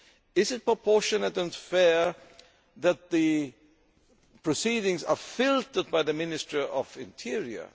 Is it proportionate and fair that the proceedings are filtered by the Ministry of the Interior?